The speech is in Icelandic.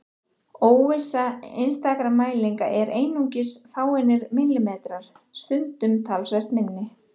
Óvissa einstakra mælinga er einungis fáeinir millimetrar, stundum talsvert minni.